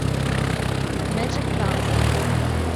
мэджиктранс